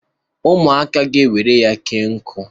...ụmụaka ewere ya kee nkụ